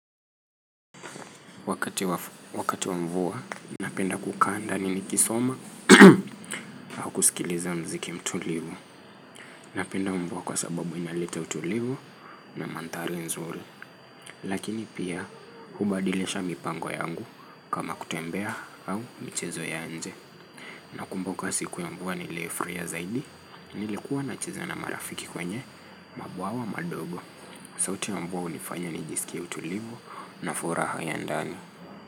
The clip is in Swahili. Wakati wa mvua, napenda kukaa ndani nikisoma au kusikiliza mziki mtulivu. Napenda mvua kwa sababu inaleta utulivu na mandhari nzuri. Lakini pia hubadilisha mipango yangu kama kutembea au mchezo ya nje. Nakumbuka siku ya mvua niliofurahia zaidi, nilikuwa nacheza na marafiki kwenye mabwawa madogo. Sauti ya mvua unifanya nijisikie utulivu na furaha ya ndani.